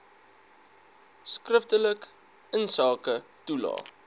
skriftelik insake toelae